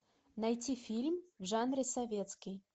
найти фильм в жанре советский